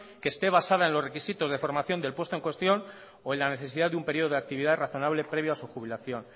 que esté basada en los requisitos de formación del puesto en cuestión o en la necesidad de un periodo de actividad razonable previo a su jubilación